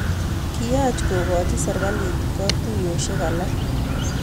Kiyaach kokoji serikalit katuiyoshek alake